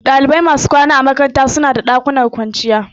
Dalibai masu kwana a makaranta suna da ɗakunan kwanciya